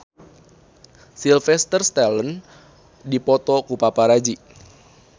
Sylvester Stallone dipoto ku paparazi